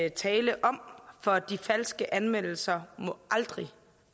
at tale om for de falske anmeldelser må